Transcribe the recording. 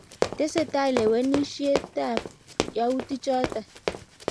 tesetai lewenisiegenishett ab yautik chotok